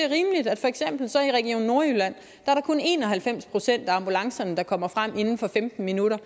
i region nordjylland kun er en og halvfems procent af ambulancerne der kommer frem inden for femten minutter